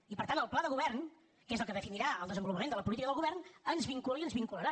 i per tant el pla de govern que és el que definirà el desenvolupament de la política del govern ens vincula i ens vincularà